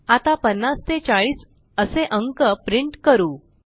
आता 50 ते 40 असे अंक प्रिंट करू